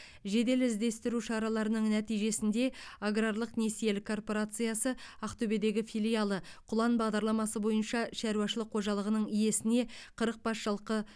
жедел іздестіру шараларының нәтижесінде аграрлық несиелік корпорациясы ақтөбедегі филиалы құлан бағдарламасы бойынша шаруашылық қожалығының иесіне қырық бас жылқы